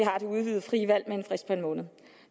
har det udvidede frie valg med en frist på en måned